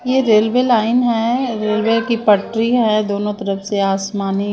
ये railway line है railway की पट्टी है दोनों तरफ से आसमानों--